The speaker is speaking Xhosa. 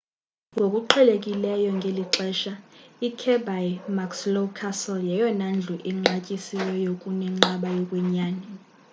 ngokuqhelekileyo ngeli xesha ikirby muxloe castle yeyona ndlu inqatyisiweyo kunenqaba yokwenyani